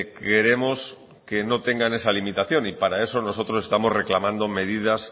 queremos que no tengan esa limitación y para eso nosotros estamos reclamando medidas